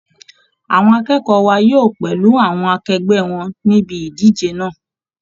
Àwọn akẹ́kọ̀ọ́ wa yóò pẹ̀lú àwọn akegbẹ́ wọn níbi idije náà